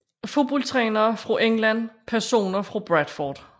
Fodboldtrænere fra England Personer fra Bradford